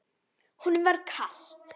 Honum var kalt.